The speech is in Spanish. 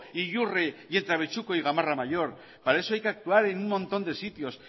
e yurre y entre abechuco y gamarra mayor para eso hay que actuar en un montón de sitios